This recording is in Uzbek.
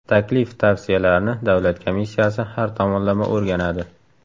Taklif-tavsiyalarni davlat komissiyasi har tomonlama o‘rganadi.